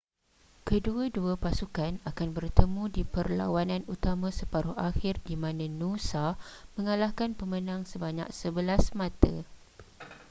kedua-dua pasukan akan bertemu di perlawanan utama separuh akhir di mana noosa mengalahkan pemenang sebanyak 11 mata